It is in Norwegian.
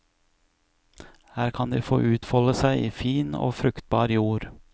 Her kan de få utfolde seg i fin og fruktbar jord.